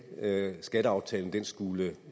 at skatteaftalen skulle